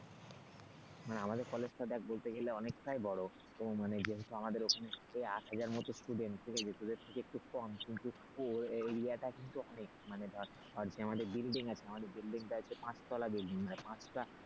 মানে আমাদের কলেজটা দেখ বলতে গেলে অনেকটাই বড়ো মানে যেহেতু আমাদের ওখানে আট হাজারের মতো student ঠিক আছে তোদের থেকে একটু কম কিন্তু এরিয়াটা কিন্তু অনেক মানে ধর আমাদের building আছে সেটা হচ্ছে পাঁচতলা building পাঁচটা,